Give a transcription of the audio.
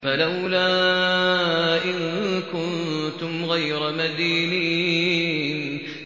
فَلَوْلَا إِن كُنتُمْ غَيْرَ مَدِينِينَ